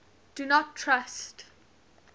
do not trust